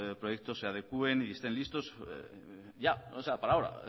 proyectos se adecuen y estén listos ya para ahora